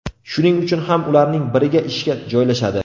Shuning uchun ham ularning biriga ishga joylashadi.